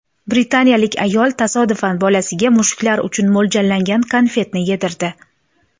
Britaniyalik ayol tasodifan bolasiga mushuklar uchun mo‘ljallangan konfetni yedirdi.